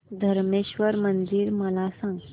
धरमेश्वर मंदिर मला सांग